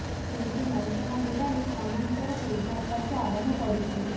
କିନ୍ତୁ ନୌସେନା ବୁଡାଳି ଖଣି ଭିତରକୁ ଉଦ୍ଧାର କାର୍ୟ୍ୟ ଆରମ୍ଭ କରିଛନ୍ତି